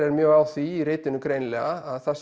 er mjög á því í ritinu greinilega að það